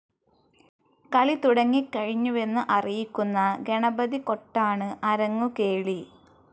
കളി തുടങ്ങിക്കഴിഞ്ഞുവെന്ന് അറിയിക്കുന്ന ഗണപതികൊട്ടാണ് അരങ്ങുകേളി.